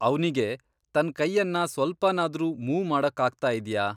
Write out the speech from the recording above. ಅವ್ನಿಗೆ ತನ್ನ್ ಕೈಯನ್ನ ಸ್ವಲ್ಪನಾದ್ರೂ ಮೂವ್ ಮಾಡೋಕಾಗ್ತಾ ಇದ್ಯಾ?